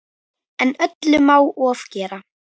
En öllu má ofgera.